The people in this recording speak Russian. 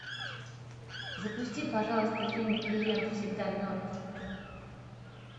запусти пожалуйста фильм клиент всегда мертв